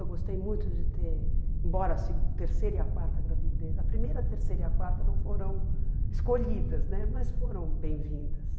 Eu gostei muito de ter, embora a segu a terceira e a quarta gravidez, a primeira, a terceira e a quarta não foram escolhidas né, mas foram bem-vindas.